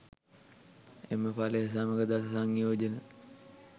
එම ඵලය සමඟ දස සංයෝජන